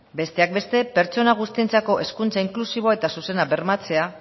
besteak beste pertsona guztientzako hezkuntza inklusiboa eta zuzena bermatzea